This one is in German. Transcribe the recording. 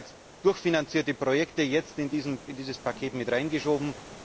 Werden bereits durchfinanzierte Projekte jetzt in dieses Paket mit reingeschoben?